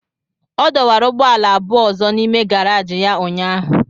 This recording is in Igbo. Ọ dọwara ụgbọala abụọ ọzọ n'ime gàráji ya ụnyahụ